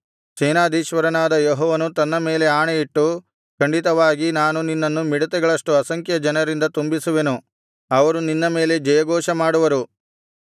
ಸೇನಾಧೀಶ್ವರನಾದ ಯೆಹೋವನು ತನ್ನ ಮೇಲೆ ಆಣೆಯಿಟ್ಟು ಖಂಡಿತವಾಗಿ ನಾನು ನಿನ್ನನ್ನು ಮಿಡತೆಗಳಷ್ಟು ಅಸಂಖ್ಯ ಜನರಿಂದ ತುಂಬಿಸುವೆನು ಅವರು ನಿನ್ನ ಮೇಲೆ ಜಯಘೋಷಮಾಡುವರು